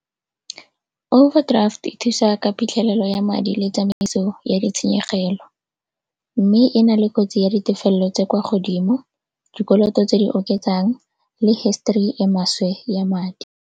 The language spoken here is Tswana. Overdraft e thusa ka phitlhelelo ya madi le tsamaiso ya ditshenyegelo mme e na le kotsi ya ditefelelo tse kwa godimo, dikoloto tse di oketsang le history e maswe ya madi.